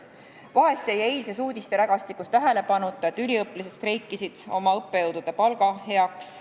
Vahest jäi eilses uudisterägastikus tähelepanuta, et üliõpilased streikisid oma õppejõudude palga tõstmise nimel.